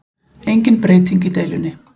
Engin breyting í deilunni